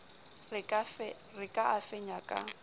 re ka a fenya ka